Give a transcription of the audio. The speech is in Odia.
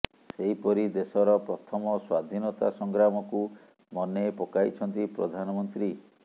ସେହିପରି ଦେଶର ପ୍ରଥମ ସ୍ୱାଧିନତା ସଂଗ୍ରାମକୁ ମନେ ପକାଇଛନ୍ତି ପ୍ରଧାନମନ୍ତ୍ରୀ